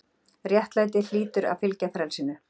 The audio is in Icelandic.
RÉTTLÆTI- hlýtur að fylgja frelsinu.